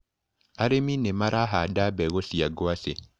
Arĩmi nĩmarahanda mbegũ cia ngwacĩ.